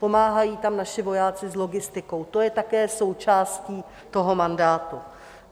Pomáhají tam naši vojáci s logistikou, to je také součástí toho mandátu.